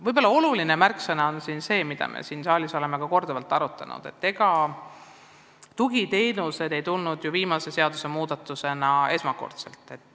Võib-olla oluline märksõna, mida me oleme ka siin saalis korduvalt arutanud, on see, et ega tugiteenused ei tulnud ju viimase seadusmuudatusena esmakordselt seadusse.